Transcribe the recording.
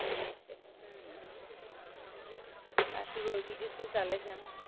એટલે હાં, બાકી બોલ બીજું શું ચાલે છે?